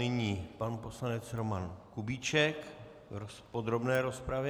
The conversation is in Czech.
Nyní pan poslanec Roman Kubíček v podrobné rozpravě.